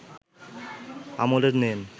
আমলে নেন